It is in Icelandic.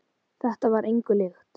Þetta var engu líkt.